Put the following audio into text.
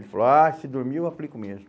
Ele falou, ah, se dormir eu aplico mesmo.